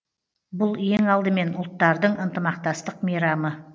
бұл ең алдымен ұлттардың ынтымақтастық мейрамы